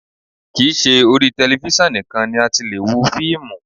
Kì í ṣe orí tẹlifísàn nìkan ni a ti lè wo fíìmù